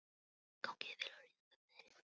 Gangi þér allt í haginn, Astrid.